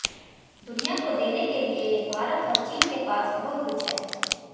दुनिया को देने के लिए भारत और चीन के पास बहुत कुछ है